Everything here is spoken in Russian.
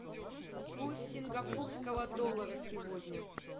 курс сингапурского доллара сегодня